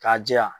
K'a jɛya